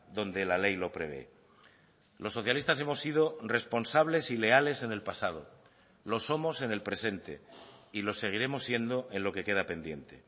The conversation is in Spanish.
donde la ley lo prevé los socialistas hemos sido responsables y leales en el pasado lo somos en el presente y lo seguiremos siendo en lo que queda pendiente